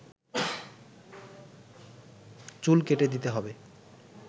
চুল কেটে দিতে হবে